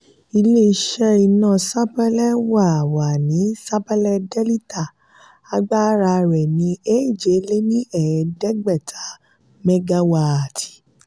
ilé-iṣẹ́ iná sapélé wà wà ní sapélé delita agbára rẹ́ ni eje-le-ni-eedegbeta megawaati.